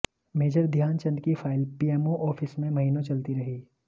major Dhyan Chand की file PMO office में महीनों चलती रही